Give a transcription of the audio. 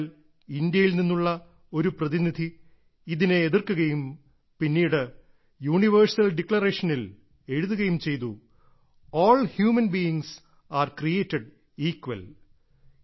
എന്നാൽ ഇന്ത്യയിൽ നിന്നുള്ള ഒരു പ്രതിനിധി ഇതിനെ എതിർക്കുകയും പിന്നീട് യൂണിവേഴ്സൽ ഡിക്ലറേഷനിൽ എഴുതുകയും ചെയ്തു all human beings are created equal